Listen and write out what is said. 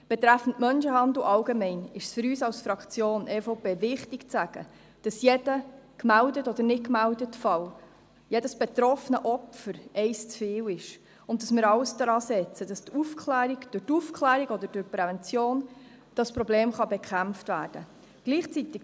Betreffend den Menschenhandel im Allgemeinen ist es für uns als Fraktion EVP wichtig zu sagen, dass jeder gemeldete oder nicht gemeldete Fall, jedes betroffene Opfer eines zu viel ist und dass wir alles daran setzen, dass dieses Problem durch Aufklärung oder Prävention bekämpft werden kann.